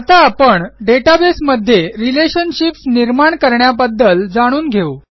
आता आपण डेटाबेस मध्ये रिलेशनशिप्स निर्माण करण्याबद्दल जाणून घेऊ